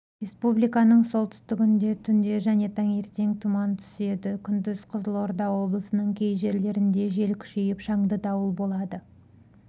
республиканың солтүстігінде түнде және таңертең тұмантүседі күндіз қызылорда облысының кей жерлерінде жел күшейіп шаңды дауыл болады